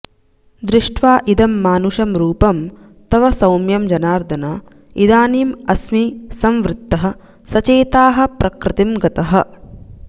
दृष्ट्वा इदं मानुषं रूपं तव सौम्यं जनार्दन इदानीं अस्मि संवृत्तः सचेताः प्रकृतिं गतः